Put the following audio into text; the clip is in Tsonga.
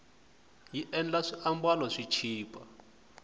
yi endla swiambalo swi chipa